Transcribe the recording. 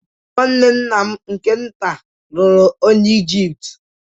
Nwanne nna m nke-ntà luru onye Ijipt.